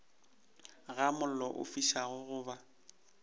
ga mollo o fišago goba